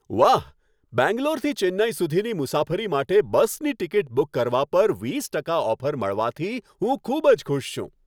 વાહ! બેંગ્લોરથી ચેન્નઈ સુધીની મુસાફરી માટે બસની ટિકિટ બુક કરવા પર વીસ ટકા ઓફર મળવાથી હું ખૂબ જ ખુશ છું.